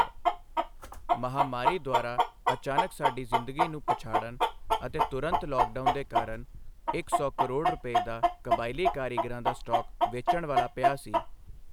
ਮਹਾਮਾਰੀ ਦੁਆਰਾ ਅਚਾਨਕ ਸਾਡੀ ਜ਼ਿੰਦਗੀ ਨੂੰ ਪਛਾੜਣ ਅਤੇ ਤੁਰੰਤ ਲੌਕਡਾਊਨ ਦੇ ਕਾਰਨ, ਇੱਕ ਸੌ ਕਰੋੜ ਰੁਪਏ ਦਾ ਕਬਾਇਲੀ ਕਾਰੀਗਰਾਂ ਦਾ ਸਟਾਕ ਵੇਚਣ ਵਾਲਾ ਪਿਆ ਸੀ।